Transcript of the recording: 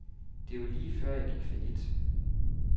Det var lige før, jeg gik fallit.